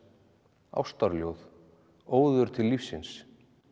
ástarljóð óður til lífsins